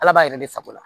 Ala b'a yɛrɛ de sago la